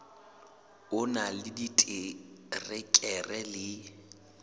o na le diterekere le